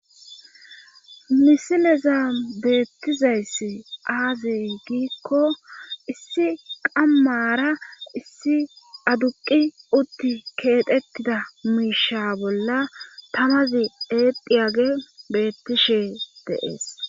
misileza beettizayssi aazey giikko issi qammara issi aduqi utti keetettida miisha bolla tamazi edhiyage beettishe deees